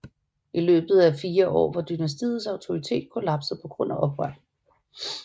I løbet af fire år var dynastiets autoritet kollapset på grund af oprør